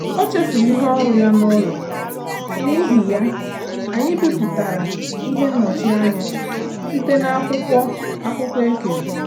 Ọ chefuru ihe ọrụ ya n'ụlọ, n'ihi ya, anyị bipụtara ihe nnọchi anya site akwụkwọ akwụkwọ ekere.